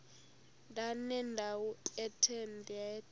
ndanendawo ethe nethe